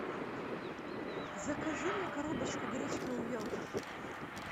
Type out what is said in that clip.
закажи мне коробочку гречки увелка